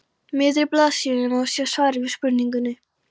miðri blaðsíðunni má sjá svarið við spurningunni